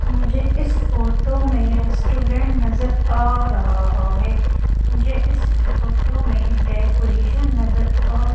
मुझे इस फोटो में रेस्टोरेंट नजर आ रहा हैं मुझे इस फोटो में डेकोरेशन नजर आ--